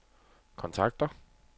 kontakter